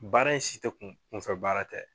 Baara si te kunfɛ baara tɛ